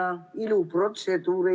Aeg, palun!